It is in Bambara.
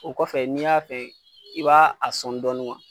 O kɔfɛ n'i y'a fɛ, i b'a sɔn dɔɔnin